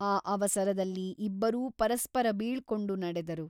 ಆ ಅವಸರದಲ್ಲಿ ಇಬ್ಬರೂ ಪರಸ್ಪರ ಬೀಳ್ಕೊಂಡು ನಡೆದರು.